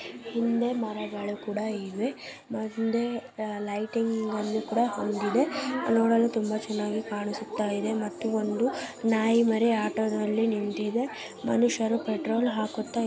ಹಿಂದೆ ಮರಗಳು ಕೂಡ ಇದೆ ಮುಂದೆ ಲೈಟಿಂಗ್ ಅನ್ನು ಹೊಂದಿದೆ ನೋಡಲು ತುಂಬ ಚೆನ್ನಾಗಿ ಕಾಣಿಸುತ್ತ ಇದೆ ಮತ್ತು ಒಂದು ನಾಯಿ ಮೇರ್ ಆಟೋದಲ್ಲಿ ನಿಂದಿದೆ ಮನುಷ್ಯರು ಪೆಟ್ರೋಲ್ ಹಾಕುತ್ತ ಇದಾರೆ.